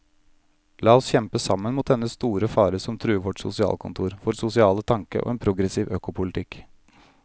La oss kjempe sammen mot dennne store fare som truer vårt sosialkontor, vår sosiale tanke og en progressiv økopolitikk.